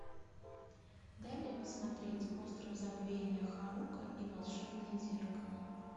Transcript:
дай мне посмотреть остров забвения харука и волшебное зеркало